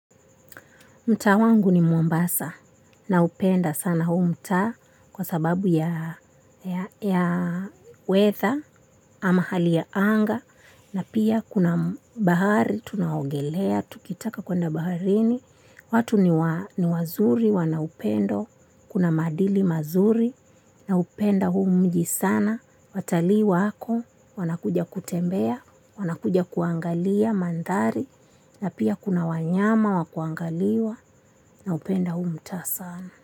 Mtaa wangu ni mombasa naupenda sana huu mtaa kwa sababu ya weather ama hali ya anga na pia kuna bahari tunaogelea, tukitaka kuenda baharini. Watu ni wazuri wana upendo, kuna maadili mazuri naupenda huu mji sana, watalii wako, wanakuja kutembea, wanakuja kuangalia mandhari na pia kuna wanyama wakuangaliwa naupenda huu mtaa sana.